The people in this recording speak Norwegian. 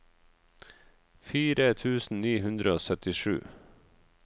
fire tusen ni hundre og syttisju